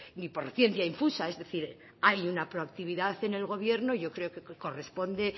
ni por ciencia infusa es decir hay una proactividad en el gobierno y yo creo que corresponde